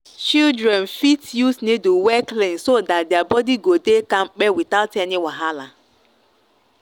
children fit use needle wey clean so that their body go dey kampe without any wahala.